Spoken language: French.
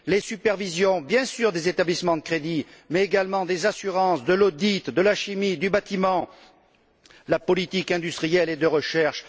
Les supervisions des établissements de crédit, bien sûr, mais également des assurances, de l'audit, de la chimie, du bâtiment, de la politique industrielle et de recherche...